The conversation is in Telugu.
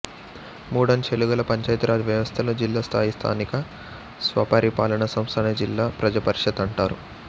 మూడంచెలుగల పంచాయతీ రాజ్ వ్యవస్థలో జిల్లా స్థాయి స్థానిక స్వపరిపాలనా సంస్థనే జిల్లా ప్రజాపరిషత్ అంటారు